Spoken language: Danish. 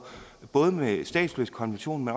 både med statsløsekonventionen